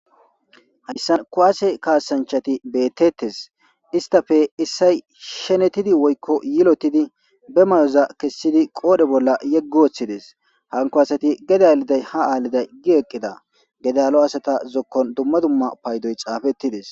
Haysa kuwase kasanchati beetetes istappe issoy shenetidi woyko yilotidi be mayoza kezidi qoodhe bolla yegi wothides hanko asati gede aliday has aliday gi eqida. Gede allo asata zokon duma duma paydoy xaafetides.